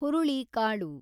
ಹುರುಳಿಕಾಳು